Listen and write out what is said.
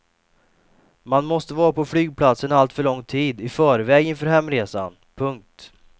Man måste vara på flygplatsen alltför lång tid i förväg inför hemresan. punkt